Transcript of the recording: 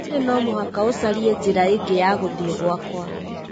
Olly no mũhaka ũcarie njĩra ĩngĩ ya gũthiĩ gwakwa